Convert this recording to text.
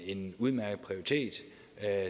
en udmærket prioritet